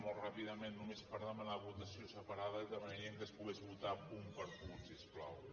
molt ràpidament només per demanar votació separada i demanaríem que es pogués votar punt per punt si us plau